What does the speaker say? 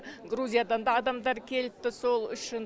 грузиядан да адамдар келіпті сол үшін